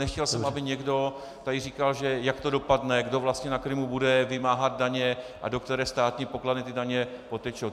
Nechtěl jsem, aby někdo tady říkal, jak to dopadne, kdo vlastně na Krymu bude vymáhat daně a do které státní pokladny ty daně potečou.